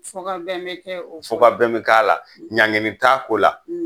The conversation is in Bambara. Fɔ ka bɛn bɛ a ko, fɔ ka bɛn bɛ k'a ko la, ɲankili t'a ko la.